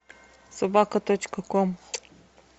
собака точка ком